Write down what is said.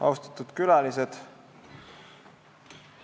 Austatud külalised!